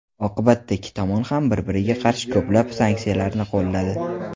Oqibatda ikki tomon ham bir-biriga qarshi ko‘plab sanksiyalarni qo‘lladi.